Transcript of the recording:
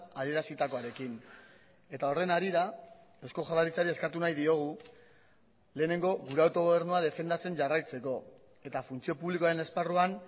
adierazitakoarekin eta horren harira eusko jaurlaritzari eskatu nahi diogu lehenengo gure autogobernua defendatzen jarraitzeko eta funtzio publikoaren esparruan